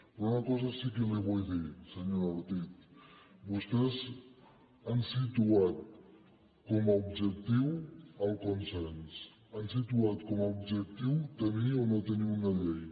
però una cosa sí que li vull dir senyora ortiz vostès han situat com a objectiu el consens han situat com a objectiu tenir o no tenir una llei